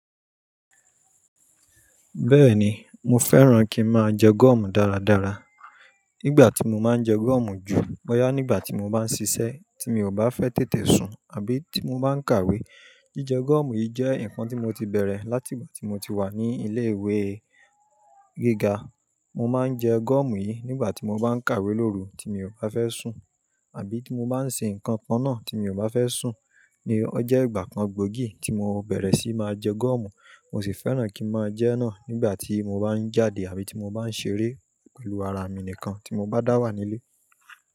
Bẹ́ẹ̀ni, mo fẹ́ràn kí n máa jẹ gọ̀mù dáradára. Nígbà tí mo máa ń jẹ gọ̀mù ju bọ́yà nígbà tí mo bá ń ṣiṣẹ́ tí mi ò bá fẹ́ tètè sùn àbí tí mo bá ń kàwé. Jíjẹ gọ̀mù yìí jẹ́ nǹkan tí mo ti bẹ̀rẹ̀ láti ìgbà tí mo ti wà ní ilé-ìwé gíga. Mo máa ń jẹ gọ̀mù yìí nígbà tí mo bá ń kàwé lóru tí mi ò bá fẹ́ sùn àbí tí mo bá ń ṣe nǹkan kan náà tí mi ò bá fẹ́ sùn. Ó jẹ́ ìgbà kan gbóògì tí mo bẹ̀rẹ̀ síí máa jẹ gọ̀mù, mo sì fẹ́ràn kí n máa jẹ́ náà nígbà tí mo bá ń jáde àbí tí mo bá ń ṣeré pẹ̀lú ara mi nìkan tí mo bá dà wà nílé.